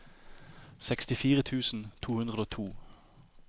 sekstifire tusen to hundre og to